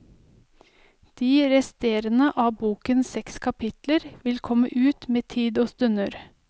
De resterende av bokens seks kapitler vil komme ut med tid og stunder.